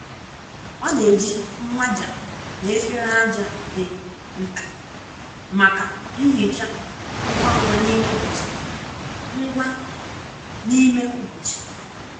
ọ na-eji mmaja na efere ájá dị nta maka nhicha ngwa ngwa n’ime ụbọchị. ngwa n’ime ụbọchị.